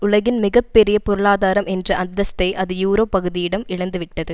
உலகின் மிக பெரிய பொருளாதாரம் என்ற அந்தஸ்தை அது யூரோ பகுதியிடம் இழந்துவிட்டது